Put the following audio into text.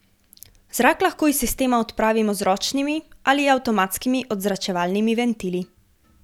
Zrak lahko iz sistema odpravimo z ročnimi ali avtomatskimi odzračevalnimi ventili.